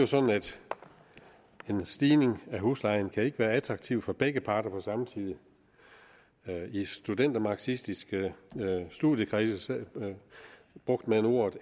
sådan at en stigning i huslejen ikke kan være attraktiv for begge parter på samme tid i marxistiske studiekredse brugte man ordet